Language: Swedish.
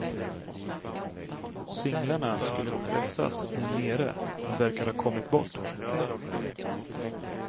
Singlarna skulle pressas där nere men verkar ha kommit bort.